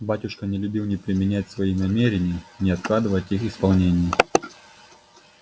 батюшка не любил ни переменять свои намерения ни откладывать их исполнение